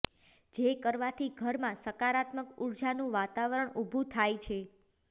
જે કરવાથી ઘરમાં સકારાત્મક ઉર્જાનું વાતાવરણ ઉભુ થાય છે